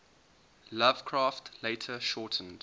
lovecraft later shortened